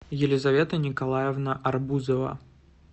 елизавета николаевна арбузова